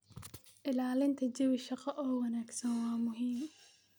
Ilaalinta jawi shaqo oo wanaagsan waa muhiim.